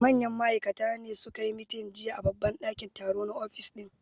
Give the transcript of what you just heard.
Manyan ma'aikata ne su ka yi meeting jiya a babban dakin taro na office din